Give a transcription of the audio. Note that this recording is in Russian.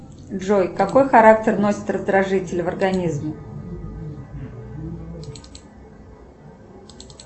джой какой характер носит раздражитель в организме